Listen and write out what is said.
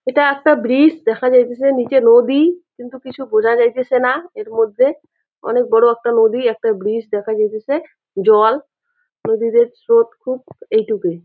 এইটা একটা ব্রিজ দেখা যাইতেছে নিচে নদী কিন্তু কিছু বোঝা যাইতেছে না এর মধ্যে অনেক বড় একটা নদী একটা ব্রিজ দেখা যাইতেছে জল নদীদের স্রোত খুব এইটুকুই।